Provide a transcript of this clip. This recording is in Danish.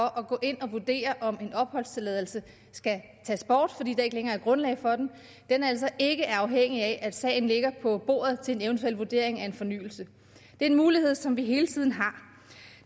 at gå ind og vurdere om en opholdstilladelse skal tages bort fordi der ikke længere er grundlag for den altså ikke er afhængig af at sagen ligger på bordet til en eventuel vurdering af en fornyelse det er en mulighed som vi hele tiden har